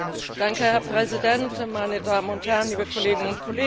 Herr Präsident, meine Damen und Herren, liebe Kolleginnen und Kollegen!